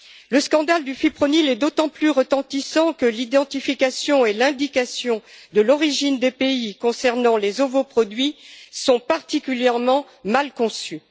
Le scandale du fipronil est d'autant plus retentissant que l'identification et l'indication de l'origine des pays concernant les ovoproduits sont particulièrement mal conçues.